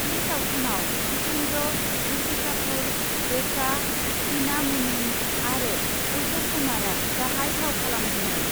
बे सावथुनआव जितेन्द्र, ऋषि कापुर, रेका, तिना मुनिम आरो अशक कुमारआ गाहाइ फाव खालामदोंमोन।